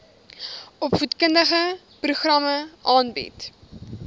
opvoedkundige programme aanbied